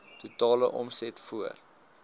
totale omset voor